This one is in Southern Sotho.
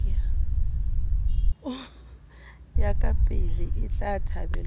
ya kapele etla thabelwa ka